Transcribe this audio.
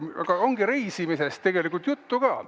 Aga ongi reisimisest tegelikult juttu ka.